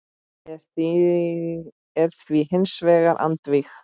er því hins vegar andvíg.